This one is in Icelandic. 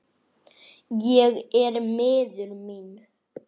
Ég er miður mín.